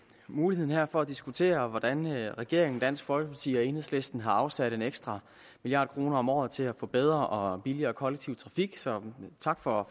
muligheden her for at diskutere hvordan regeringen dansk folkeparti og enhedslisten har afsat en ekstra milliard kroner om året til at få bedre og billigere kollektiv trafik så tak for